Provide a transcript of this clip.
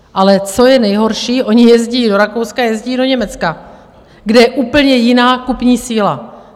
Ale co je nejhorší, oni jezdí do Rakouska, jezdí do Německa, kde je úplně jiná kupní síla.